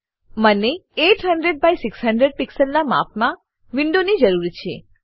મને 800 by 600 pixel માપનાં વિન્ડોની જરૂર છે